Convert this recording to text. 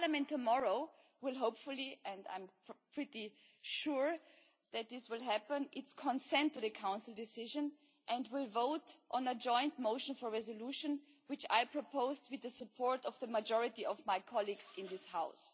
Tomorrow, hopefully and I am pretty sure that this will happen Parliament will give its consent to the Council decision and will vote on a joint motion for a resolution, which I proposed with the support of the majority of my colleagues in this House.